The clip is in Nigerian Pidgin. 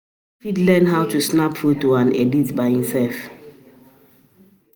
Persin fit um learn how to snap photo and edit um am by himself